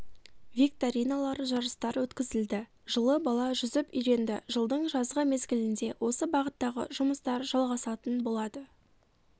викториналар жарыстар өткізілді жылы бала жүзіп үйренді жылдың жазғы мезгілінде осы бағыттағы жұмыстар жалғасатын болады